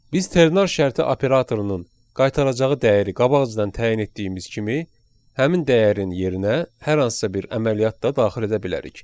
Biz ternar şərti operatorunun qaytaracağı dəyəri qabaqcadan təyin etdiyimiz kimi, həmin dəyərin yerinə hər hansısa bir əməliyyat da daxil edə bilərik.